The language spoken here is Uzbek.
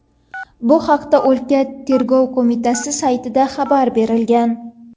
Bu haqda o‘lka Tergov qo‘mitasi saytida xabar berilgan .